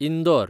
Indore